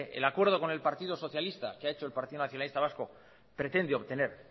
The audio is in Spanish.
el acuerdo con el partido socialista que ha hecho el partido nacionalista vasco pretende obtener